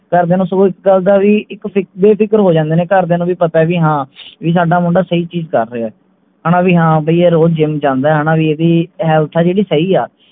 ਘਰ ਦੀਆਂ ਨੂੰ so ਇਸ ਗੱਲ ਦਾ ਵੀ ਇਕ ਫਿਕਰ ਬੇਫਿਕਰ ਹੋਣ ਜਾਂਦੇ ਨੇ ਘਰ ਦੀਆਂ ਨੂੰ ਵੀ ਪਤੇ ਵੀ ਹਾਂ ਵੀ ਸਾਡਾ ਮੁੰਡਾ ਸਹੀ ਚੀਜ ਕਰ ਰਿਹੇ ਹਣਾ ਵੀ ਹਾਂ ਬਈ ਯਾਰ ਉਹ gym ਜਾਂਦੇ ਹਣਾ ਵੀ ਇਹਦੀ health ਆ ਜਿਹੜੀ ਸਹੀ ਆ